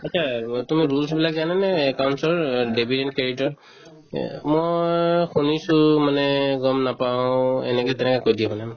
এটা অ তুমি rules বিলাক জানানে account ৰ অ debit and credit তৰ এহ্ মই শুনিছো মানে গম নাপাও এনেকে তেনেকে কৈ দিয়ে মানে